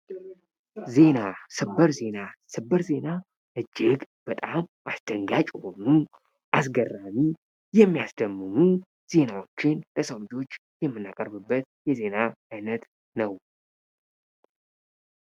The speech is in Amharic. ዜና ሰበር ዜና ሰበር ዜና እጅግ በጣም አስደንጋጭ የሆኑ አስገራሚ የሚያስደምሙ ዜናዎችን ለሰው ልጆች የመናቀርብበት የዜና አይነት ነው ::